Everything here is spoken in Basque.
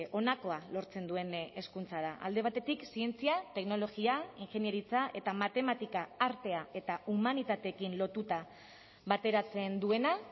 honakoa lortzen duen hezkuntza da alde batetik zientzia teknologia ingeniaritza eta matematika artea eta humanitateekin lotuta bateratzen duena